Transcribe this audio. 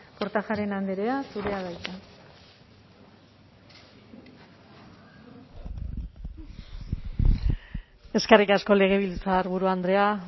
kortajarena andrea zurea da hitza eskerrik asko legebiltzarburu andrea